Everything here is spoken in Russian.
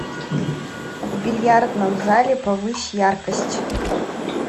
в бильярдном зале повысь яркость